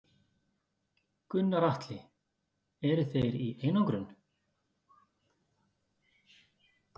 Gunnar Atli: Eru þeir í einangrun?